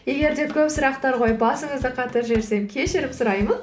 егер де көп сұрақтар қойып басыңызды қатырып жіберсем кешірім сұраймын